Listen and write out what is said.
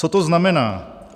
Co to znamená?